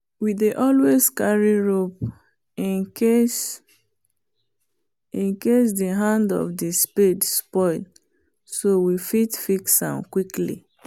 we dey always carry rope incase the hand of the spade spoil so we fit fix am quickly